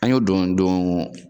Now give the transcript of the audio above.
An y'o don don